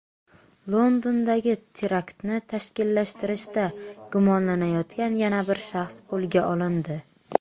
Londondagi teraktni tashkillashtirishda gumonlanayotgan yana bir shaxs qo‘lga olindi.